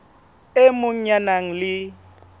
e mong ya nang le